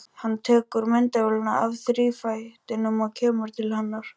Hann tekur myndavélina af þrífætinum og kemur til hennar.